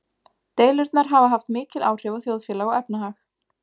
Deilurnar hafa haft mikil áhrif á þjóðfélag og efnahag.